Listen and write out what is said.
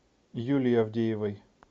юлии авдеевой